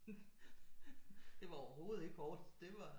Det var overhovedet ikke hårdt det var